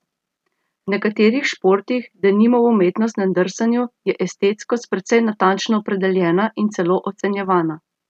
V nekaterih športih, denimo v umetnostnem drsanju, je estetskost precej natančno opredeljena in celo ocenjevana.